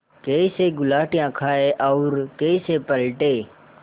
कैसे गुलाटियाँ खाएँ और कैसे पलटें